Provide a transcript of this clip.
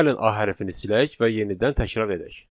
Gəlin A hərfini silək və yenidən təkrar edək.